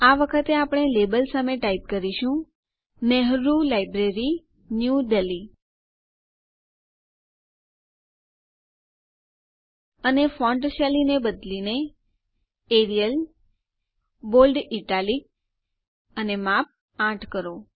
આ વખતે આપણે લેબલ સામે ટાઈપ કરીશું નેહરૂ લાઇબ્રેરી ન્યૂ દેલ્હી અને ફોન્ટ શૈલીને બદલીને એરિયલ બોલ્ડ ઇટાલિક અને માપ ૮ કરો